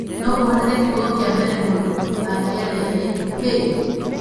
No kũhoteke kiugo kĩa mbere mũndũ angĩaria nĩ 'hey!'